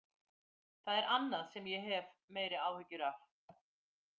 Það er annað sem ég hef meiri áhyggjur af.